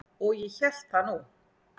Og ég hélt það nú.